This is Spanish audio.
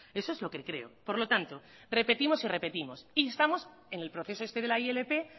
eso es lo que creo por lo tanto repetimos y repetimos instamos en el proceso este de la ilp